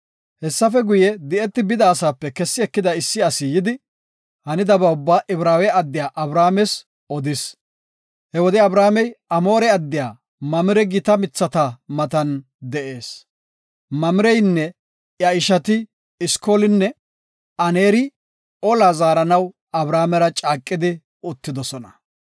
Hessafe guye, di7eti bida asaape kessi ekida issi asi yidi hanidaba ubba Ibraawe addiya Abrahaames odis. He wode Abramey Amoore addiya Mamire gita mithata matan de7ees. Mamireynne iya ishati Eskolinne Aneeri olaa zaaranaw Abramera caaqidi uttidosona.